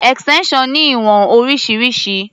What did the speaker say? Extension ní ìwọ̀n oríṣiríṣi.